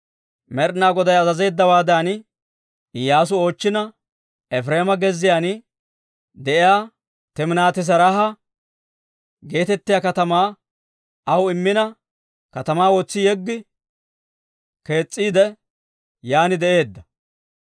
Med'ina Goday azazeeddawaadan, Iyyaasu oochchina, Efireema gezziyaan de'iyaa Timinaati-Seraaha geetettiyaa katamaa aw immina katamaa wotsi yeggi kees's'iide, yaan de'eedda.